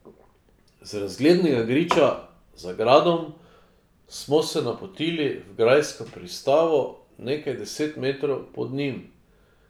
Z razglednega griča za gradom smo se napotili v grajsko pristavo nekaj deset metrov pod njim.